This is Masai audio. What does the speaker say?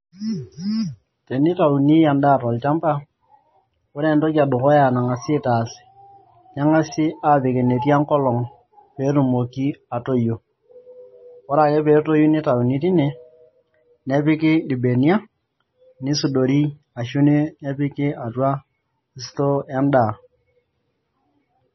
tenitaunii endaa too olchamba koree enetoki ee dukuyaa naa ngasai aaas naa peepiki enetii enkolong peetumoki atoyio koree akee petoyu nitauni tine nepiki ilbeniak nisudori arashoo epiki atuaa stoo endaaa.